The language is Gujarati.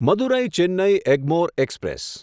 મદુરાઈ ચેન્નઈ એગ્મોર એક્સપ્રેસ